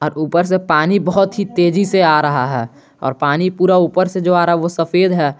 ऊपर से पानी बहोत ही तेजी से आ रहा है और पानी पूरा ऊपर से जो आ रहा है वो सफेद है।